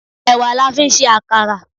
Èwà la fi ń ṣe àkàrà.